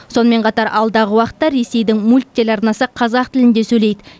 сонымен қатар алдағы уақытта ресейдің мульт телеарнасы қазақ тілінде сөйлейді